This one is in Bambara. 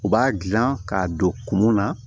U b'a dilan k'a don kun mun na